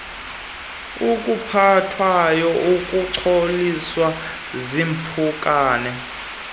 okuphathwayo akungcoliswa ziimpukane